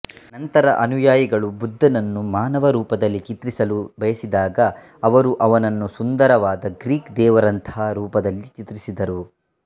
ನಂತರ ಅನುಯಾಯಿಗಳು ಬುದ್ಧನನ್ನು ಮಾನವ ರೂಪದಲ್ಲಿ ಚಿತ್ರಿಸಲು ಬಯಸಿದಾಗ ಅವರು ಅವನನ್ನು ಸುಂದರವಾದ ಗ್ರೀಕ್ ದೇವರಂತಹ ರೂಪದಲ್ಲಿ ಚಿತ್ರಿಸಿದರು